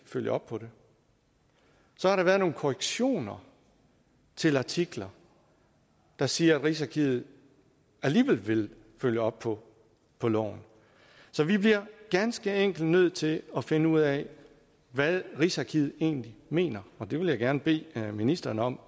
følge op på det så har der været nogle korrektioner til artikler der siger at rigsarkivet alligevel vil følge op på på loven så vi bliver ganske enkelt nødt til at finde ud af hvad rigsarkivet egentlig mener og det vil jeg gerne bede ministeren om